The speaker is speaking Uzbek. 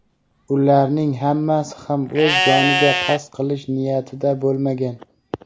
ularning hammasi ham o‘z joniga qasd qilish niyatida bo‘lmagan.